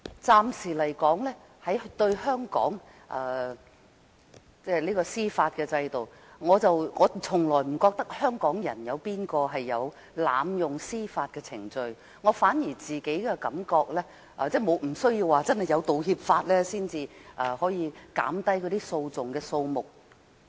暫時來說，在香港的司法制度下，我從來不覺得有任何香港人會濫用司法程序；我反而覺得，不需要有《條例草案》才可以減低訴訟的數目。